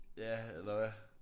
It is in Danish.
Ja eller hvad?